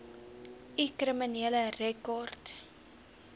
u kriminele rekord